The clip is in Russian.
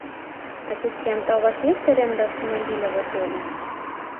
ассистент а у вас есть аренда автомобиля в отеле